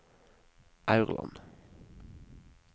Aurland